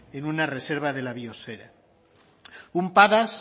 en una reserva de la biosfera un padas